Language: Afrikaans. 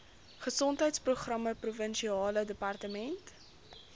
gesondheidsprogramme provinsiale departement